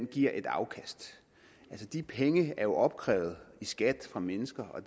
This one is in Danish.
giver et afkast de penge er jo opkrævet i skat fra mennesker og